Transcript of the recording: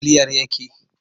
Yaya ƙarfin bataliyar yake?